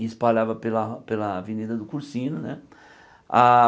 e espalhava pela pela avenida do Cursino né a.